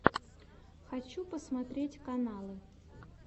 хочу посмотреть каналы